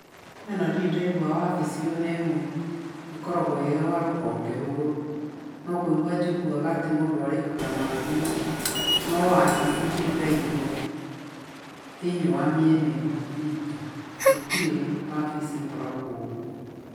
Niĩ ona ndirĩ ndaigua wabici ona ĩmwe ĩkoragwo ĩrĩ ya rũhonge rũrũ, no kũigwa njiguaga atĩ mũndũ arihaga na thimũ, no wabici ndirĩ ndaigua thĩinĩ wa mĩena ĩno itũ gũtirĩ wabici ĩkoragwo gũkũ.